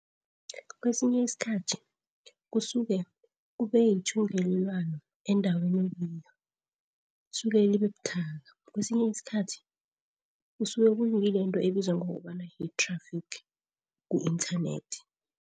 Kwesinye isikhathi kusuke kube ithungelwano endaweni okiyo, suke libebuthaka. Kwesinye isikhathi kusuke kungile into ebizwa ngokobana yi-traffic ku-internet.